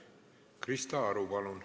Krista Aru, palun!